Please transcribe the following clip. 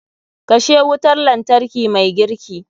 Kashe wutar lantarki mai girki.